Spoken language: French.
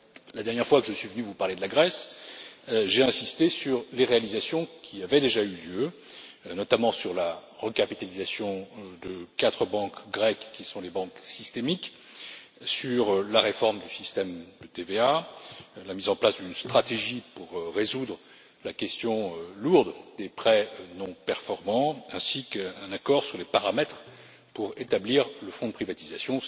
La dernière fois que je suis venu vous parler de la Grèce, j'ai insisté sur les réalisations qui avaient déjà eu lieu, notamment la recapitalisation de quatre banques grecques qui sont les banques systémiques, la réforme du système de TVA, la mise en place d'une stratégie pour résoudre la question lourde des prêts non performants, ainsi qu'un accord sur les paramètres pour établir le fonds de privatisation.